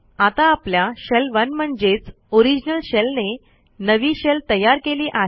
आता आपल्या शेल 1 म्हणजेच ओरिजिनल शेलने नवी शेल तयार केली आहे